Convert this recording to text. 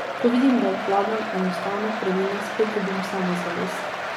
Ko vidim, da obvladam enostavne prvine, spet dobim samozavest.